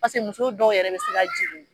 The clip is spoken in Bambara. Paseke muso dɔw yɛrɛ bi se ka jigin